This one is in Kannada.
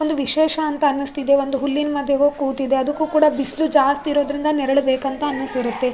ಒಂದು ವಿಶೇಷ ಅಂತ ಅನ್ನಿಸ್ತಿದೆ ಒಂದು ಹುಲ್ಲಿನ್ ಮಧ್ಯಕ್ಕೆ ಹೋಗ್ ಕೂತಿದೆ ಅದ್ಕು ಕೂಡ ಬಿಸ್ಲು ಜಾಸ್ತಿ ಇರೋದ್ರಿಂದ ನೆರಳು ಬೇಕು ಅಂತ ಅನ್ನಿಸಿರುತ್ತೆ.